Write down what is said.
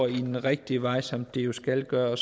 den rigtige vej som de jo skal gøre